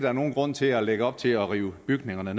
er nogen grund til at lægge op til at rive bygningerne